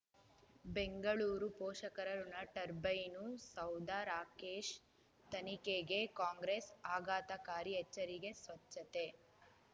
ಬೆಂಗಳೂರು ಪೋಷಕರಋಣ ಟರ್ಬೈನು ಸೌಧ ರಾಕೇಶ್ ತನಿಖೆಗೆ ಕಾಂಗ್ರೆಸ್ ಆಘಾತಕಾರಿ ಎಚ್ಚರಿಕೆ ಸ್ವಚ್ಛತೆ